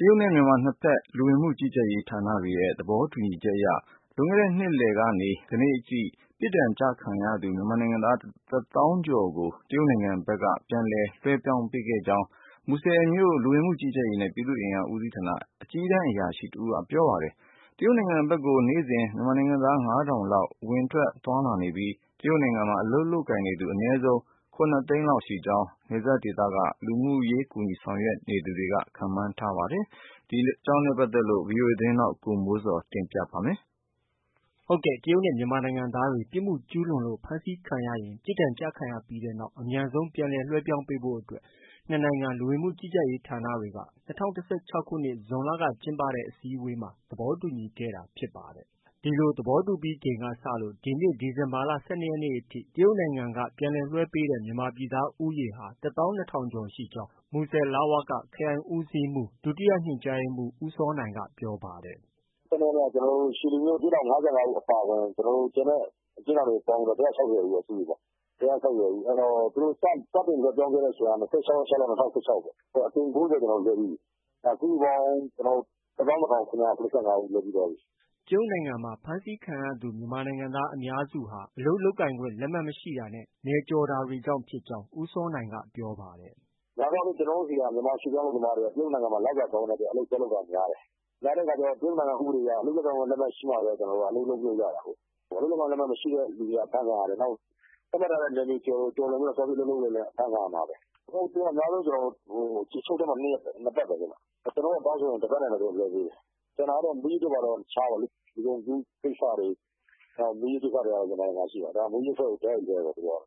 တရုတ်နဲ့ မြန်မာ နှစ်ဖက် လူဝင်မှုကြီးကြပ်ရေးဌာနတွေရဲ့ သဘောတူညီချက်အရ လွန်ခဲ့တဲ့နှစ်လည်ကနေ ကနေ့အထိ ပြစ်ဒဏ်ကျခံရသူ မြန်မာနိုင်ငံသား ၁ သောင်းကျော် ကို တရုတ်နိုင်ငံဘက်က ပြန်လည် လွဲှပြောင်းပေးခဲ့ကြောင်း မူဆယ်မြို့ လူဝင်မှုကြီးကြပ်ရေးနဲ့ ပြည်သူ့အင်အားဦးစီးဌာနက အကြီးတန်းအရာရှိတဦးက ပြောပါတယ်။ တရုတ်နိုင်ငံဖက်ကို နေ့စဉ် မြန်မာနိုင်ငံသား ၅ထောင်လောက် ဝင်ထွက်သွားလာနေပြီး တရုတ်နိုင်ငံမှာ အလုပ်လုပ်ကိုင်သူ အနည်းဆုံး ၇သိန်းလောက်ရှိကြောင်း နယ်စပ်ဒေသက လူမှုကူညီရေးဆောင်ရွက်နေသူတွေက ခန့်မှန်းပါတယ်။ ဒီသတင်းကို ဗွီအိုအေမြန်မာပိုင်းရဲ့ သတင်းထောက် ကိုမိုးဇော်က တင်ပြထားပါတယ်။ တရုတ်နဲ့ မြန်မာနိုင်ငံသားတွေ ပြစ်မှုကျူးလွန်လို့ ဖမ်းဆီးခံရရင် ပြစ်ဒဏ်ကျခံပြီးနောက် အမြန်ဆုံးပြန်လည်းလွဲှပြောင်းပေးဖို့အတွက် နှစ်နိုင်ငံ လူဝင်မှုကြီးကြပ်ရေးဌာနတွေဟာ ၂၀၁၆ခုနှစ် ဇွန်လက ကျင်းပတဲ့ အစည်းအဝေးမှာနှစ်ဖက် သဘောတူညီခဲ့တာဖြစ်ပါတယ်။ ဒီလို သဘောတူညီပြီးချိန်ကစလို့ ဒီနှစ် ဒီဇင်ဘာလ ၁၂ရက်နေ့ အထိ တရုတ်နိုင်ငံက ပြန်လည်လွဲှပေးတဲ့ မြန်မာပြည်သား ဦးရေဟာ ၁ သောင်း ၂ ထောင်ကျော်ရှိကြောင်း မူဆယ် လဝက ခရိုင်ဦးစီးမှုး ဒုတိယညွှန်ကြားရေးမှုး ဦးစောနိုင်က ပြောပါတယ်။ “ ၁၂ ရက်နေ့က ရွှေလီမြို့ အကျဉ်းထောင်က ၅၅ဦးအပါအဝင် ကျန်တဲ့ အကျဉ်းထောင်တွေပေါင်းပြီးတော့ ၁၆၀ ဦးပေါ့။ စုစုပေါင်း။ စတင်လွဲှပြောင်းခဲ့တဲ့အချိန်က ၂၆ရက် ၆လ ၂၀၁၆ပေါ့။ ခုက အကြိမ် ၉၀ ကျနော်တို့လွဲှပြီးပြီ။ အဲဒါ စုစုပေါင်း ၁၂၇၇၅ဦးလွဲှပြီးသွားပြီ။ ” တရုတ်နိုင်ငံမှာ ဖမ်းဆီးခံရသူ မြန်မာနိုင်ငံသားအများစုဟာ အလုပ်လုပ်ခွင့် လက်မှတ် မရှိတာနဲ့ နယ်မြေကျော်တာတွေကြောင့်ဖြစ်ကြောင်း ဦးစောနိုင်က ဆက်ပြောပါတယ်။ “ များသောအားဖြင့် ကျနော်တို့ဆီက မြန်မာရွှေ့ပြောင်းလုပ်သားတွေက တရုတ်နိုင်ငံမှာ လစာကောင်းတဲ့ အတွက် အလုပ်သွားလုပ်တာကများတယ်။ များတဲ့အခါကျ တရုတ်နိုင်ငံဥပဒေအရ အလုပ်လုပ်ကိုင်ခွင့် လက်မှတ်ရှိမှပဲ အလုပ်လုပ်လို့ ရတာကိုး။ အလုပ်လုပ်ကိုင်ခွင့်လက်မှတ်က လျှောက်ရတာပေါ့။ အလုပ်လုပ်ကိုင်ခွင့်လက်မှတ် မရှိတဲ့သူတွေက အဖမ်းခံရတယ်။ နောက် သတ်မှတ်ထားတဲ့နယ်မြေကျော်လွန်ပြီး သွားပြီးအလုပ်လုပ်ရင်လည်း အဖမ်းခံရမှာပဲ။ အဲဒါပါပဲ။ သူက အများဆုံးအချုပ်ထဲမှာ ၂ပတ်ပဲ။ ကျနော်တို့ကတောင်းဆိုရင် ၁ ပတ်နဲ့လည်း သူတို့က လွဲှပေးတယ်။ ကျန်တာကတော့ မူးယစ်တို့ဘာတို့က တခြားပေါ့။ လူကုန်ကူးကိစ္စတွေ မူးယစ်ကိစ္စတွေ ကတော့ ရံဖန်ရံခါရှိပါတယ်။ မူးယစ်ကတော့ တိုက်ရိုက်လွဲှတာပေါ့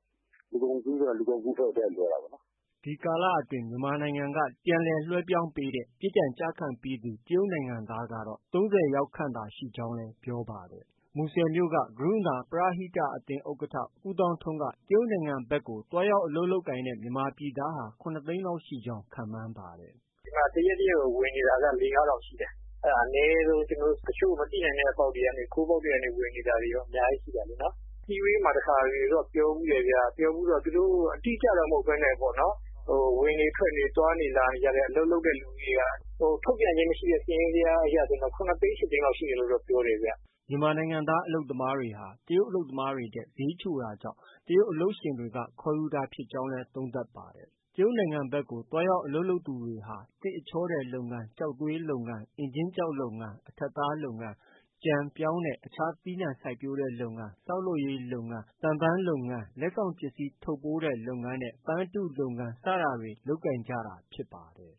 သူတို့က။ လူကုန်ကူးကလည်း လူကုန်ကူးအဖွဲ့ကို တိုက်ရိုက်လွဲှတာပေါ့။” ဒီကာလအတွင်း မြန်မာနိုင်ငံက ပြန်လည်လွဲှပြောင်းပေးတဲ့ ပြစ်ဒဏ်ကျခံပြီးသူ တရုတ်နိုင်ငံသားကတော့ ၃၀ယောက်ခန့်သာရှိကြောင်းလည်း ပြောပါတယ်။ မူဆယ်မြို့က ကရုဏာ ပရဟိတအသင်း ဥက္ကဌ ဦးသောင်းထွန်းက တရုတ်နိုင်ငံဖက်ကို သွားရောက်အလုပ်လုပ်ကိုင်တဲ့ မြန်မာပြည်သားဟာ ၇သိန်းလောက် ရှိနိုင်ကြောင်း ခန့်မှန်းပါတယ်။ “ ဒီမှာ တရက်တရက်ကို ဝင်နေတာက လေး- ငါး ထောင်ရှိတယ်။ အဲဒါ အနည်းဆုံး။ တချို့ ကျနော်တို့ မသိနိုင်တဲ့ အပေါက်တွေကနေ ဝင်နေတာတွေကော အများကြီးရှိတာပေါ့။ အစည်းအဝေးမှာ တခါတလေကျ ပြောဖူးတယ်ဗျ။ ပြောဖူးတော့ သူတို့ အတိအကျတော့ မဟုတ်ဘဲနဲ့ပေါ့နော် ဝင်နေ ထွက်နေ သွားနေ လာနေကြတဲ့ အလုပ်လုပ်တဲ့ လူဦးရေက ထုတ်ပြန်ခြင်းမရှိတဲ့ စာရင်းဇယားအရဆို ၇သိန်း၊ ၈သိန်းလောက်တော့ ရှိတယ်ခင်ဗျ။ ” မြန်မာနိုင်ငံသားအလုပ်သမားတွေဟာ တရုတ်အလုပ်သမားတွေထက် ဈေးချိုတာကြောင့် တရုတ်အလုပ်ရှင်တွေကခေါ်ယူတာဖြစ်ကြောင်းလည်း သုံးသပ်ပါတယ်။ တရုတ်နိုင်ငံဘက်ကို သွားရောက်အလုပ်လုပ်သူတွေဟာ သစ်အချောထည်လုပ်ငန်း၊ ကျောက်သွေးလုပ်ငန်း၊ အင်ကြင်းကျောက်လုပ်ငန်း၊ အထပ်သားလုပ်ငန်း၊ ကြံ၊ ပြောင်းနဲ့ အခြားသီးနှံစိုက်ပျိုးတဲ့လုပ်ငန်း၊ ဆောက်လုပ်ရေးလုပ်ငန်း၊ သံစက်ရုံလုပ်ငန်း၊ လက်ဆောင်ပစ္စည်း ထုပ်ပိုးတဲ့လုပ်ငန်း၊ ပန်းအတုလုပ်ငန်း စတာတွေ လုပ်ကိုင်ကြတာဖြစ်ပါတယ်။